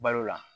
Balo la